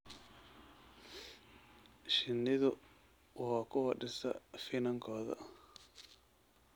Shinnidu waa kuwa dhisa finankooda.